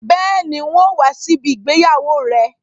Bẹ́ẹ̀ni, n ó wá sí ìgbéyàwó rẹ